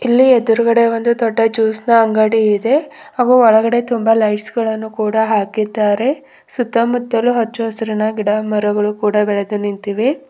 ಇಲ್ಲಿ ಎದ್ರುಗಡೆ ಒಂದು ದೊಡ್ಡ ಜ್ಯೂಸ್ನ ಅಂಗಡಿ ಇದೆ ಹಾಗೂ ಒಳಗಡೆ ತುಂಬ ಲೈಟ್ಸ್ ಗಳನ್ನು ಕೂಡ ಹಾಕಿದ್ದಾರೆ ಸುತ್ತಮುತ್ತಲು ಅಚ್ಚ ಹಸಿರಿನ ಗಿಡಮರಗಳು ಕೂಡ ಬೆಳೆದು ನಿಂತಿವೆ.